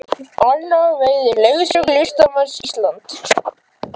Anna veitir leiðsögn í Listasafni Íslands